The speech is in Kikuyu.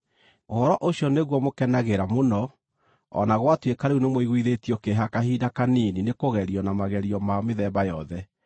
Ũhoro ũcio nĩguo mũkenagĩra mũno, o na gwatuĩka rĩu nĩmũiguithĩtio kĩeha kahinda kanini nĩkũgerio na magerio ma mĩthemba yothe.